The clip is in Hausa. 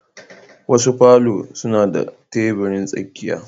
Wasu palours suna da tebirin tsakiya